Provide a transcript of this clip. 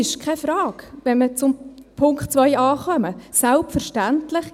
Und wenn wir zu Punkt 2a kommen, ist es keine Frage: